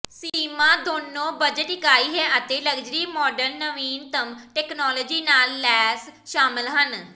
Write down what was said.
ਸੀਮਾ ਦੋਨੋ ਬਜਟ ਇਕਾਈ ਹੈ ਅਤੇ ਲਗਜ਼ਰੀ ਮਾਡਲ ਨਵੀਨਤਮ ਤਕਨਾਲੋਜੀ ਨਾਲ ਲੈਸ ਸ਼ਾਮਲ ਹਨ